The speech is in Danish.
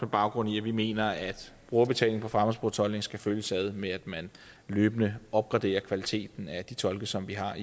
baggrund i at vi mener at brugerbetaling på fremmedsprogstolkning skal følges ad med at man løbende opgraderer kvaliteten af de tolke som vi har